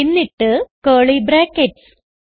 എന്നിട്ട് curly brackets